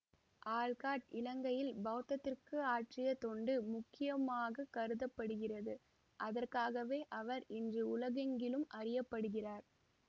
Olcott இலங்கையில் பௌத்தத்திற்கு ஆற்றிய தொண்டு முக்கியமாக கருதபடுகிறது அதற்காகவே அவர் இன்று உலகெங்கிலும் அறிய படுகிறார்